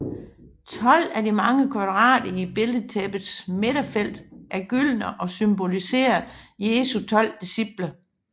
Tolv af de mange kvadrater i billedtæppets midterfelt er gyldne og symboliserer Jesu tolv disciple